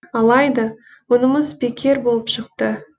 алайда мұнымыз бекер болып шықты